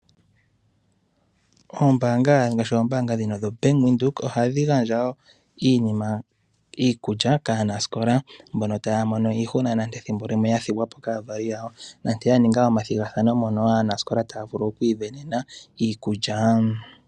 Oombanga ngaashi ombaanga dhino dho Bank Windhoek ohadhi gandja wo iinima ,ngaashi iikulya kaanasikola mbono taya mono iihuna nenge ethimbo limwe ya thigwa po kaavali yawo nenge ya ninga omathigathano mono aanasikola taa vulu okwiisindanena iikulya.